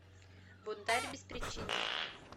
бунтарь без причины